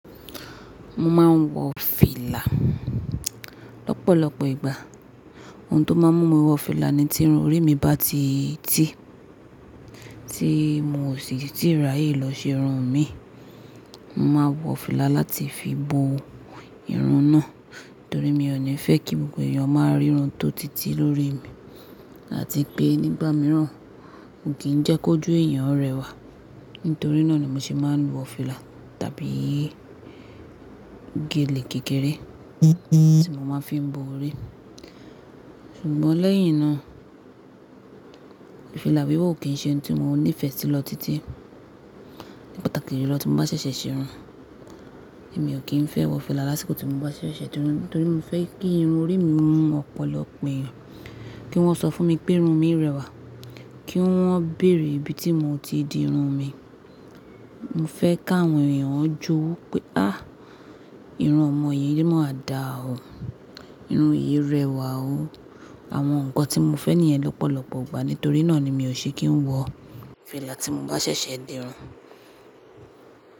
Mo máa ń wọ fìlà lọ́pọ̀lọpọ̀ ìgbà. Ohun tó máa ń mú mi wọ fìlà ni tí irun orí mi bá ti tì tí mo sì ti ráyè lọ ṣe irun mi. Mo máa wọ fìlà láti fi bo irun náà torí mi ò ní fẹ́ kí gbogbo èèyàn máa rí irun tó títí lórí mi àti pé nígbà mìíràn kì jẹ́ kó jù èèyàn rẹwà. Nítorí náà ni mo ṣe máa ń wọ fìlà tàbí gèlè kékeré tí mo máa ń fi bo orí. Ṣùgbọ́n lẹ́yìn náà, fìlà wíwọ̀ kì í ṣe ohun tí mo nífẹ̀ẹ́ sí lọ títí ní pàtàkì ju lọ́ tí mo bá ṣẹ̀ṣẹ̀ ṣe irun. Mi ò kí ń fẹ́ wọ fìlà lásìkò tí mo bá ṣẹ̀ṣẹ̀ ṣe irun torí mo fẹ́ kí irun orí mi hun ọ̀pọ̀lọpọ̀ èèyàn, kí wọ́n sọ fún mi pé irun mi rẹwà, kí wọ́n bèèrè ibi tí mo ti di irun mi. Mo fẹ́ ká àwọn èèyàn jowu pé, "Áàh! Irun ọmọ yìí máa dà o. Irun yìí rẹwà o." Àwọn nǹkan tí mo fẹ́ nìyẹn lọ́pọ̀lọpọ̀ ìgbà. Nítorí náà ni mi ò ṣe kí ń wọ fìlà tí mo bá ṣẹ̀ṣẹ̀ di irun.